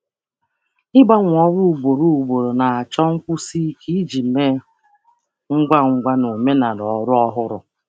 Ịgbanwe ọrụ ugboro ugboro chọrọ ike ịgbanwe ngwa ngwa na omenala ọrụ ọhụrụ.